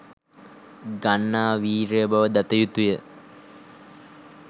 ගන්නා වීරිය බව දත යුතුය.